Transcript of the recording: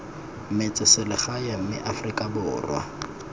metse selegae mme afrika borwa